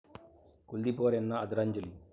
कुलदीप पवार यांना आदरांजली